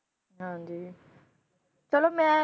ਹਾਂਜੀ, ਚਲੋ ਮੈਂ